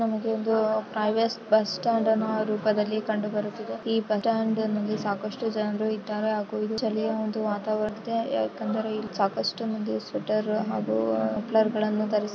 ನಮಗೆ ಒಂದು private bus stand ನ ರೂಪದಲ್ಲಿ ಕಂಡುಬರುತ್ತದೆ. ಈ ಬಸ್ ಸ್ಟಾಂಡ್ ನಲ್ಲಿ ಸಾಕಷ್ಟು ಜನರು ಇದಾರೆ ಹಾಗೂ ಚಳಿಯ ಒಂದು ವಾತಾವರಣ ಇದೆ ಯಾಕೆಂದರೆ ಇಲ್ಲಿ ಸಾಕಷ್ಟು ಮಂದಿ ಸ್ವೆಟರ್ ಆಗು ಮಫ್ಲರ್ ಗಳನ್ನು ಧರಿಸಿ --